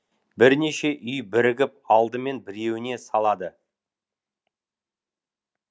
бірнеше үй бірігіп алдымен біреуіне салады